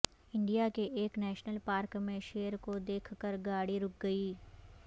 India کے ایک national park میں شیر کو دیکھ کر گاڑی رک گئی